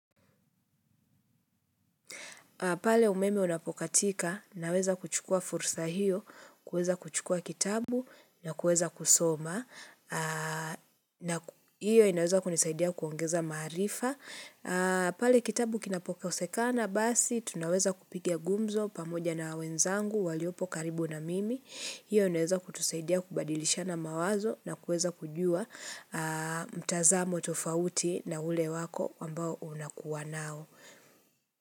Pale umeme unapokatika, naweza kuchukua fursa hiyo, kuweza kuchukua kitabu, na kuweza kusoma. hiIyo inaweza kunisaidia kuongeza maarifa. Pale kitabu kinapokosekana, basi, tunaweza kupiga ngumzo pamoja na wenzangu, waliopo karibu na mimi. Hiyo inaweza kutusaidia kubadilishana mawazo, na kuweza kujua mtazamo tofauti na ule wako ambao unakuwa nao.